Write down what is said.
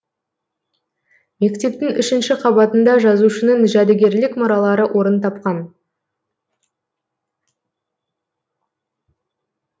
мектептің үшінші қабатында жазушының жәдігерлік мұралары орын тапқан